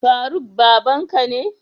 Faruk babanka ne?